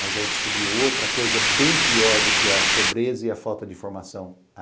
Mas aí eu descobri outra coisa bem pior do que a pobreza e a falta de informação.